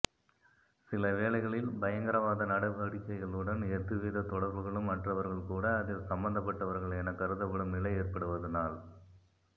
சிலவேளைகளில் பயங்கரவாத நடவடிக்கைகளுடன் எதுவித தொடர்புகளும் அற்றவர்கள் கூட அதில் சம்பந்தப்பட்டவர்கள் எனக் கருதப்படும் நிலை ஏற்படுவதனால்